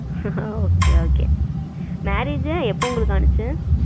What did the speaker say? okay, okay marriage எல்லாம் எப்போ உங்களுக்கு ஆச்சு?